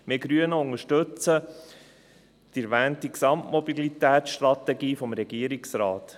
Wir Grüne unterstützen die erwähnte Gesamtmobilitätsstrategie des Regierungsrates: